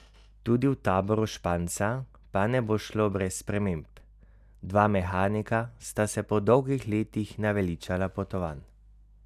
Tudi v taboru Španca pa ne bo šlo brez sprememb: "Dva mehanika sta se po dolgih letih naveličala potovanj.